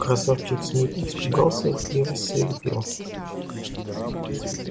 красавчик смит испугался и рассвирепел